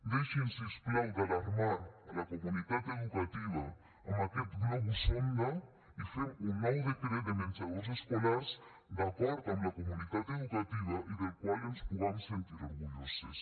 deixin si us plau d’alarmar la comunitat educativa amb aquest globus sonda i fem un nou decret de menjadors escolars d’acord amb la comunitat educativa i del qual ens pugam sentir orgulloses